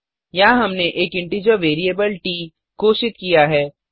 यहाँ हमने एक इंटीजर वेरिएबल ट घोषित किया है